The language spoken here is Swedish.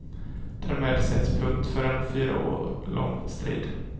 Därmed sätts punkt för en fyra år lång strid.